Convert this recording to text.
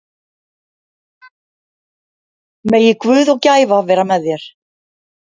Megi Guð og gæfa vera með þér.